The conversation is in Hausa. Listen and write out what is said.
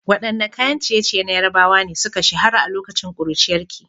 Waɗanne kayan ciye-ciye na Yarbawa ne suka shahara a lokacin ƙuruciyarki?